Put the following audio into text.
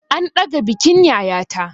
An ɗaga bikin yayata.